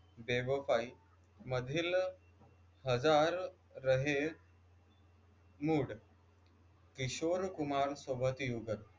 मधील हजार राहें किशोर कुमारसोबत युगत